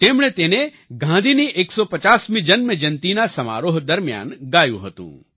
તેમણે તેને ગાંધીની 150મી જન્મજયંતિના સમારોહ દરમિયાન ગાયું હતું